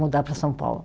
Mudar para São Paulo.